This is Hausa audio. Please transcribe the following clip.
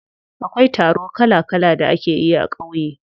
Akwai taro kala kala da ake yi a ƙauye.